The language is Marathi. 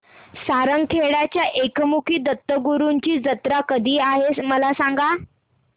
सारंगखेड्याच्या एकमुखी दत्तगुरूंची जत्रा कधी आहे मला सांगा